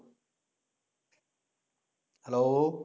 hello